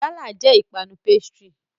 Gala nla jẹ ipanu pastry.